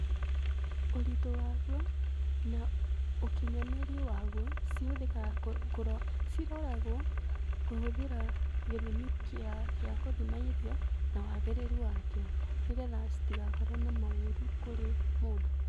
Ũritũ waguo na ũkinyanĩru waguo, cihũthĩkaga ciroragwo kũhũthĩra gĩthimi kĩa gũthima irio na wagĩrĩru wakĩo nĩ getha citigakorwo na maũru kũrĩ mũndũ.